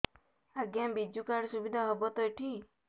ଆଜ୍ଞା ବିଜୁ କାର୍ଡ ସୁବିଧା ହବ ତ ଏଠି